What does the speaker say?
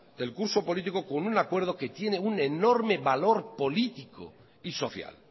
el curso político con un acuerdo que tiene un enorme valor político y social